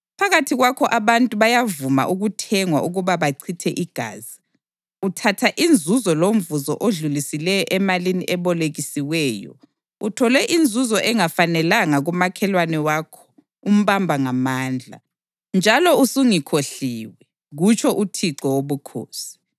Phakathi kwakho abantu bayavuma ukuthengwa ukuba bachithe igazi; uthatha inzuzo lomvuzo odlulisileyo emalini ebolekisiweyo, uthole inzuzo engafanelanga kumakhelwane wakho umbamba ngamandla. Njalo usungikhohliwe, kutsho uThixo Wobukhosi.